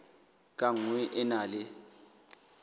ka nngwe e na le